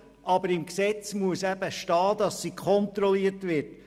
Aber im Gesetz muss geschrieben stehen, dass sie kontrolliert wird.